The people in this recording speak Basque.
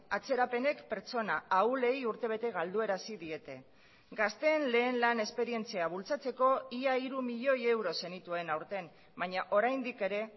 atzerapenek pertsona ahulei urtebete galdu arazi diete gazteen lehen lan esperientzia bultzatzeko ia hiru milioi euro zenituen aurten baina oraindik ere